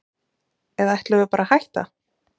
Eða ætlum við bara að hætta?